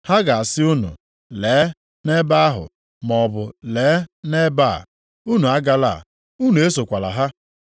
Ha ga-asị unu, ‘Lee, nʼebe ahụ,’ maọbụ, ‘Lee, nʼebe a,’ unu agala, unu esokwala ha.